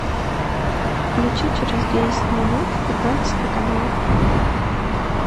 включи через десять минут пятнадцатый канал